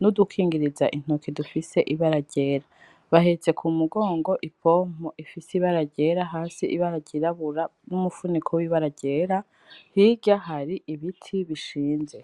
n'udukingiriza intoki dufise ibara ryera ,bahetse k'umugongo ipompo ifise ibara ryera hasi ibara ryirabura n'umufuniko wibara ryera hirya har'ibiti bishinze.